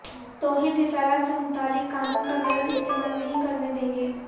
توہین رسالت سے متعلق قانون کا غلط استعمال نہیں کرنے دیں گے